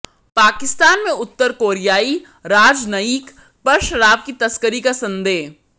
पाकिस्तान में उत्तर कोरियाई राजनयिक पर शराब की तस्करी का संदेह